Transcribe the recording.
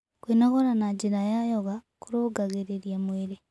Kwĩnogora na njĩra ya yoga kũrũngagĩrĩrĩa mwĩrĩ